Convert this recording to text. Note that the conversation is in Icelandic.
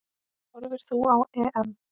Horfir þú á EM?